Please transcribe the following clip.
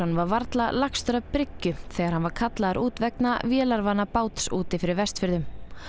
var varla lagstur að bryggju þegar hann var kallaður út vegna vélarvana báts úti fyrir Vestfjörðum